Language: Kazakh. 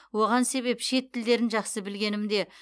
оған себеп шет тілдерін жақсы білгенімде